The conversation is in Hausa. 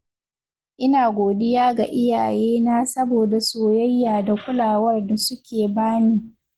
Ina godiya ga iyayena saboda soyayya da kulawar da suke ba ni.